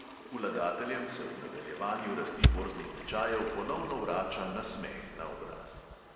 Vlagateljem se ob nadaljevanju rasti borznih tečajev ponovno vrača nasmeh na obraz.